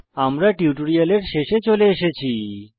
আমরা টিউটোরিয়ালের শেষে চলে এসেছি